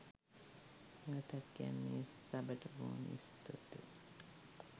නැවතත් කියන්නේ සබට බොහොම ස්තූතියි.